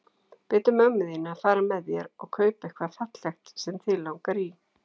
Biddu mömmu þína að fara með þér og kaupa eitthvað fallegt sem þig langar í.